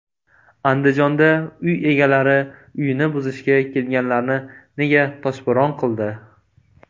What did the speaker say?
Andijonda uy egalari uyini buzishga kelganlarni nega toshbo‘ron qildi?